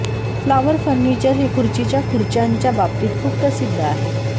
flower furniture हे खुर्चीच्या खुर्च्यांच्या बाबतीत खूप प्रसिद्ध आहे